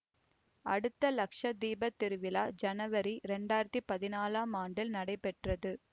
அடுத்த லக்ஷ தீபம் திருவிழா ஜனவரி இரண்டாயிரத்தி பதினாலாம் ஆண்டில் நடைபெற்றது